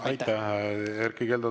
Aitäh, Erkki Keldo!